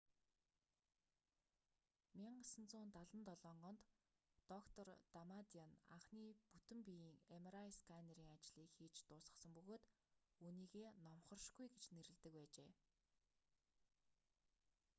1977 онд доктор дамадиан анхны бүтэн биеийн mri сканерын ажлыг хийж дуусгасан бөгөөд үүнийгээ номхоршгүй гэж нэрлэдэг байжээ